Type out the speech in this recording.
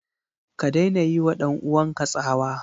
Ka daina yiwa ɗan uwanka tsawa!